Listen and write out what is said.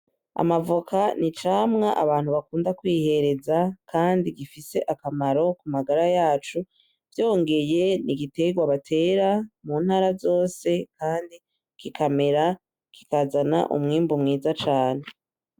Amavoka ni icamwa abantu bakunda kwihereza kandi gifise akamaro ku magara yacu vyongeye ni igiterwa batera muntara zose kandi kikamera kikazana umwimbu mwiza cane.